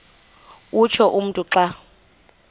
utsho umntu xa